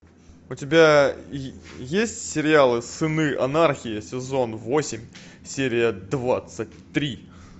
у тебя есть сериал сыны анархии сезон восемь серия двадцать три